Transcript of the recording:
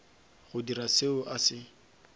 go dira seo a se